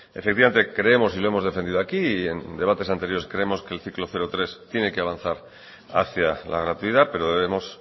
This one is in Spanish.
efectivamente creemos y lo hemos defendido aquí y en debates anteriores creemos que el ciclo cero tres tiene que avanzar hacia la gratuidad pero debemos